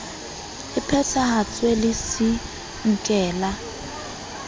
e phethahatswe le c nkela